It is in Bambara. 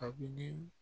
Abi ni